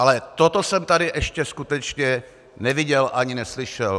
Ale toto jsem tady ještě skutečně neviděl ani neslyšel.